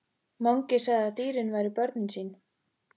Mangi sagði að dýrin væru börnin sín.